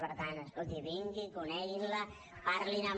per tant escolti vingui coneguin la parlin amb